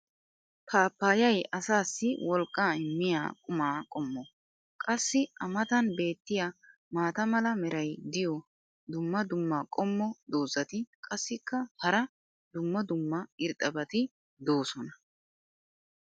paappayay asaassi wolqqaa immiya qumma qommo. qassi a matan beetiya maata mala meray diyo dumma dumma qommo dozzati qassikka hara dumma dumma irxxabati doosona.